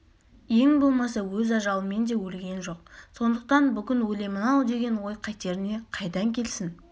ең болмаса өз ажалымен де өлген жоқ сондықтан бүгін өлемін-ау деген ой қатеріне қайдан келсін